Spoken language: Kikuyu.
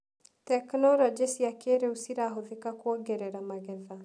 Tekinologĩ cia kĩrĩũ cirahũthĩka kuongerera magetha.